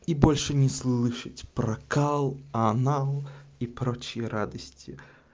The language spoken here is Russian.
и больше не слышать про калл анал и прочие радости